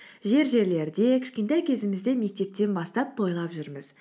жер жерлерде кішкентай кезімізде мектептен бастап тойлап жүрміз